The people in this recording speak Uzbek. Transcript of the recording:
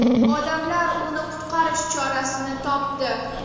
Odamlar uni qutqarish chorasini topdi .